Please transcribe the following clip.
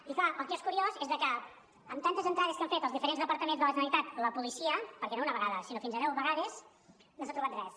i clar el que és curiós és que amb tantes entrades que han fet als diferents departaments de la generalitat la policia perquè no una vegada sinó fins a deu vegades no s’ha trobat res